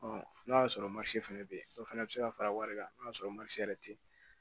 n'o y'a sɔrɔ fɛnɛ bɛ ye o fɛnɛ bɛ se ka fara wari kan n'o y'a sɔrɔ yɛrɛ tɛ ye